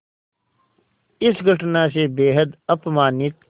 इस घटना से बेहद अपमानित